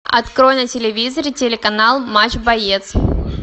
открой на телевизоре телеканал матч боец